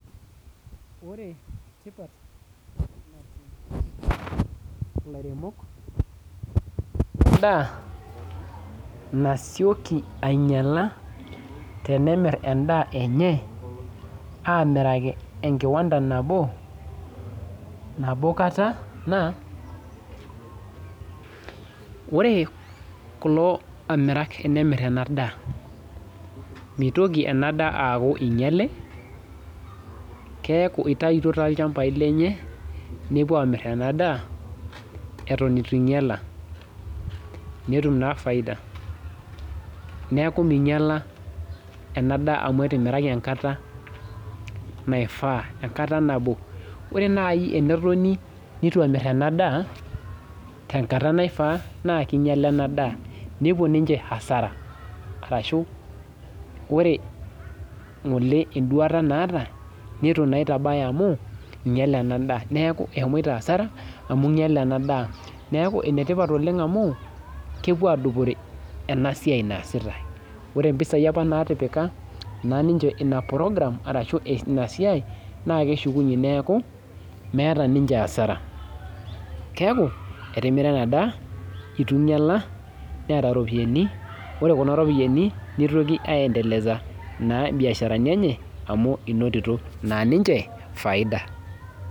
Ore tipat natum ilairemok lendaa nasioki ainyiala tenemirr endaa enye amiraki enkiwanda nabo, nabo kata naa wore kulo amirak enemirr ena daa mitoki ena daa aaku inyiale keeku itaitio tolchambai lenye nepuo amirr ena daa eton itu inyiala netum naa faida neku minyiala ena daa amu etimiraki enkata naifaa enkata nabo ore naaji enetoni nitu emirr ena daa tenkata naifaa naa kinyiala ena daa nepuo ninche asara arashu wore ng'ole enduata naata nitu naa itabaya amu inyiale ena daa neeku ehomoito asara amu inyiale ena daa neeku enetipat oleng amu kepuo adupore ena siai naasita ore impisai apa natipika naa ninche ina program arashu ina siai naa keshukunyie neeku meeta ninche asara keeku etimira ena daa itu inyiala neeta iropiyiani ore kuna ropiyiani nitoki aendeleza naa imbiasharani enye amu inotito naa ninche faida.